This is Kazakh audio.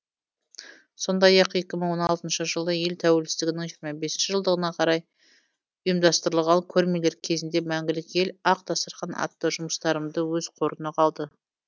сондай ақ екі мың он алтыншы жылы ел тәуелсіздігінің жиырма бес жылдығына орай ұйымдастырылған көрмелер кезінде мәңгілік ел ақ дастархан атты жұмыстарымды өз қорына алды